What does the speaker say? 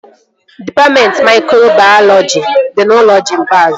Dịpatmentị maikrobayọlọji dị n'ụlọ Jimbaz